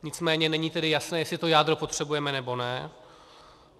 Nicméně není tedy jasné, jestli to jádro potřebujeme, nebo ne.